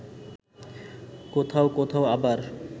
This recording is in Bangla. কোথাও কোথাও আবার